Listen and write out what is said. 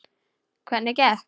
Hvernig gekk?